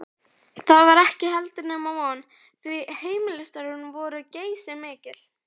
Það var heldur ekki nema von, því heimilisstörfin voru geysimikil.